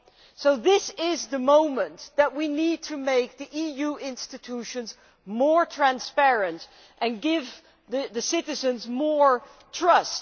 So this is the moment when we need to make EU institutions more transparent and give the citizens more trust.